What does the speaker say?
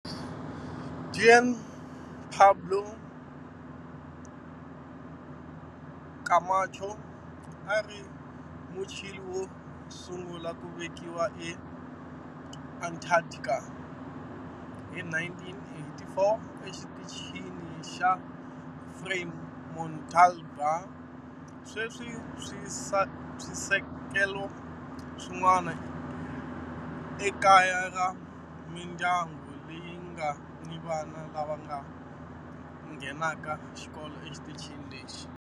Juan Pablo Camacho a a ri Muchile wo sungula ku velekiwa eAntarctica hi 1984 eXitichini xa Frei Montalva. Sweswi swisekelo swin'wana i kaya ra mindyangu leyi nga ni vana lava nghenaka xikolo exitichini lexi.